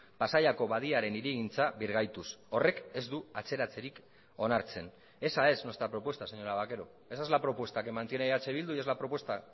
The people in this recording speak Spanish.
pasaiako badiaren hirigintza birgaituz horrek ez du atzeratzerik onartzen esa es nuestra propuesta señora vaquero esa es la propuesta que mantiene eh bildu y es la propuesta